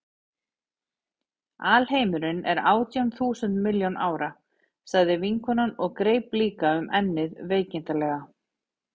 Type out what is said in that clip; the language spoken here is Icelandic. Alheimurinn er átján þúsund milljón ára, sagði vinkonan og greip líka um ennið veikindaleg.